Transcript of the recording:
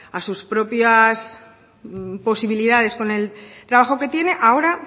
a sus propias posibilidades con el trabajo que tiene ahora